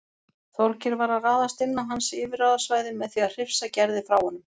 Þorgeir var að ráðast inn á hans yfirráðasvæði með því að hrifsa Gerði frá honum.